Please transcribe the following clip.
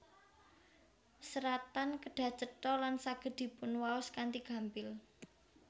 Seratan kedah cetha lan saged dipunwaos kanthi gampil